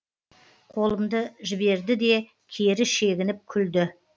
қолымды жіберді де кері шегініп күлді